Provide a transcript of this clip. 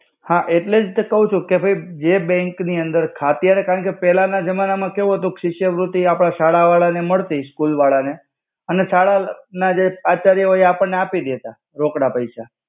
હા એટ્લે જ તો કવ છુ. કે ભઇ જે બેંક નિ અંદર ખા અત્યરે કારણ કે પેલા ન જમાના મા કેવુ હતુ શિષ્યવૃત્તિ આપણા શાળા વાડા ને મડ્તી સ્કુલ વાળા ને અને ન જે આચાર્ય હોય એ આપને આપી દેતા રોકડા પૈસ્સા.